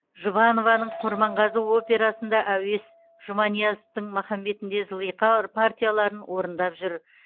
жұбанованың құрманғазы операсында әуес жұманиязовтың махамбетінде зылиха партияларын орындап жүр